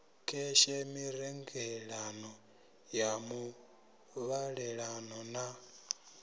kheshe mirengelano ya muvhalelano na